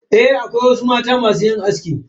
Eh toh, akwai wasu mata masu yin aski.